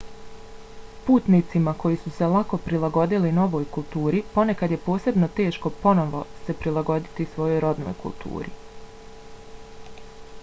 putnicima koji su se lako prilagodili novoj kulturi ponekad je posebno teško ponovno se prilagoditi svojoj rodnoj kulturi